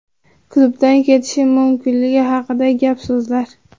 Klubdan ketishim mumkinligi haqidagi gap-so‘zlar?